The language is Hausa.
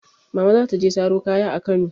Mama za ta je saro kaya a Kano.